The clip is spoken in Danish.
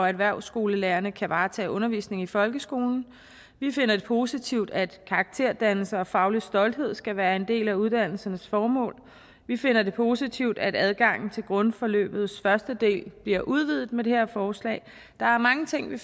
erhvervsskolelærerne kan varetage undervisningen i folkeskolen vi finder det positivt at karakterdannelse og faglig stolthed skal være en del af uddannelsernes formål vi finder det positivt at adgangen til grundforløbets første del bliver udvidet med det her forslag der er mange ting ved